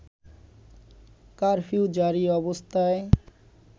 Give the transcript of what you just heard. curfew জারি অবস্থায়